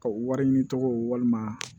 Ka wari ɲini tɔgɔ walima